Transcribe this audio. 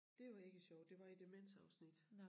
Det var ikke sjovt det var i demensafsnit